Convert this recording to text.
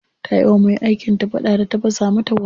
Ta yi wa me aikin ta fada da ta fasa mata kwano.